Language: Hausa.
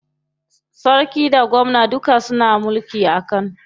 Sarki da gwamna duka suna mulki a Kano.